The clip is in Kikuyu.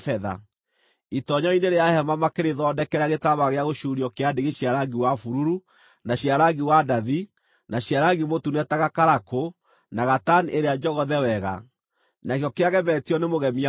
Itoonyero-inĩ rĩa hema makĩrĩthondekera gĩtambaya gĩa gũcuurio kĩa ndigi cia rangi wa bururu, na cia rangi wa ndathi, na cia rangi mũtune ta gakarakũ, na gatani ĩrĩa njogothe wega, nakĩo kĩagemetio nĩ mũgemia mũũgĩ;